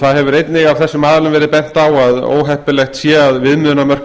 það hefur einnig af þessum aðilum verið bent á að óheppilegt sé að viðmiðunarmörk